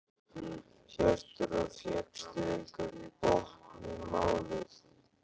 Hjörtur: Og fékkstu einhvern botn í málið?